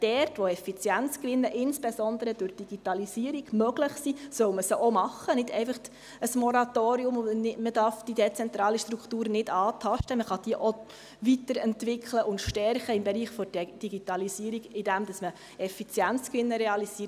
Dort, wo Effizienzgewinne, insbesondere durch die Digitalisierung, möglich sind, soll man diese auch machen – nicht einfach ein Moratorium, und man darf die dezentrale Struktur nicht antasten, sondern man kann diese im Bereich der Digitalisierung auch weiterentwickeln und stärken, indem man Effizienzgewinne realisiert.